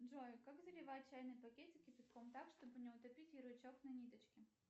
джой как заливать чайный пакетик кипятком так чтобы не утопить ярлычок на ниточке